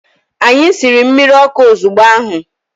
Anyi siri mmirọkụ ozubgo ahu.